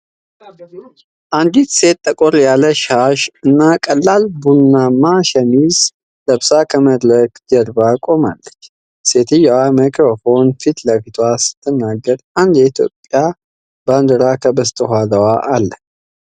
አንዲት ሴት ጠቆር ያለ ሻሽ እና ቀላል ቡናማ ሸሚዝ ለብሳ ከመድረክ ጀርባ ቆማለች፡፡ ሴትየዋ ማይክሮፎን ፊት ለፊት ስትናገር አንድ የኢትዮጵያ ባንዲራ ከበስተኋላው አለ፡፡